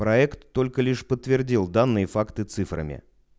проект только лишь подтвердил данные факты цифрами